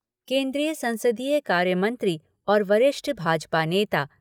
केन्द्रीय संसदीय कार्यमंत्री और वरिष्ठ भाजपा नेता